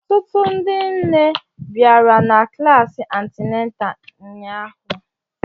Ọtụtụ ndị nne bịara na klasi antịnátà ụnyahụ